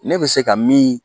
Ne bɛ se ka min